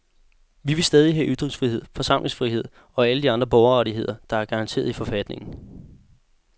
Vi vil stadig have ytringsfrihed, forsamlingsfrihed og alle de andre borgerrettigheder, der er garanteret i forfatningen.